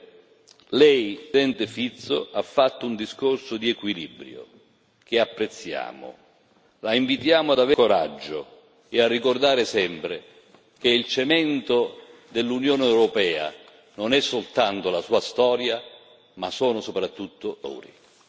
In conclusione, il suo, Presidente Fitto, è stato un discorso di equilibrio, che apprezziamo. La invitiamo ad avere più coraggio e a ricordare sempre che il cemento dell'Unione europea non è soltanto la sua storia bensì soprattutto i suoi valori.